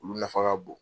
Olu nafa ka bon